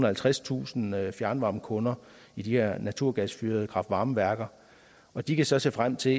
halvtredstusind fjernvarmekunder i de her naturgasfyrede kraft varme værker og de kan så se frem til